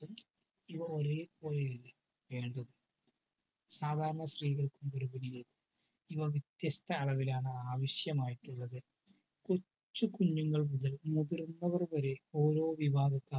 ഇവ ഒരുപോലെ യല്ല വേണ്ടത്. സാധാരണ സ്ത്രീകൾക്കും ഗർഭിണികൾക്കും ഇവ വ്യത്യസ്ത അളവിലാണ് ആവശ്യമായിട്ടുള്ളത്. കൊച്ചു കുഞ്ഞുങ്ങൾ മുതൽ മുതിർന്നവർ വരെ ഓരോ വിഭാഗക്കാർ